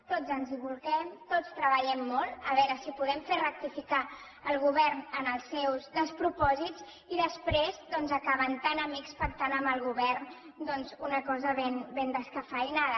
tots ens hi bolquem tots treballem molt a veure si podem rectificar el govern en els seus despropòsits i després doncs acaben tan amics pactant amb el govern una cosa ben descafeïnada